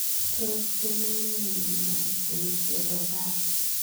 Tos kinae nee miondoop Enseropati?